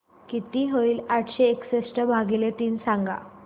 किती होईल आठशे एकसष्ट भागीले तीन सांगा